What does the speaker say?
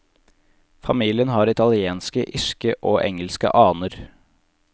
Familien har italienske, irske og engelske aner.